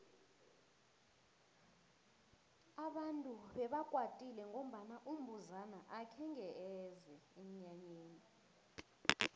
abantu bebakwatile ngombana umbuzana akhenge eze emnyanyeni